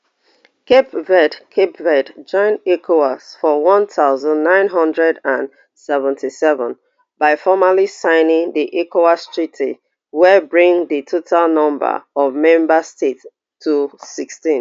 cape verde cape verde join ecowas for one thousand, nine hundred and seventy-seven by formally signing di ecowas treaty wey bring di total number of member states to sixteen